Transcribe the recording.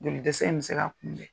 Joli dɛsɛ in bɛ se ka kunbɛ.